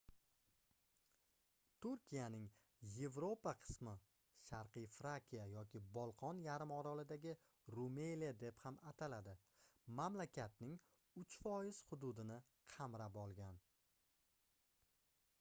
turkiyaning yevropa qismi sharqiy frakiya yoki bolqon yarim orolidagi rumeliya deb ham ataladi mamlakatning 3% hududini qamrab olgan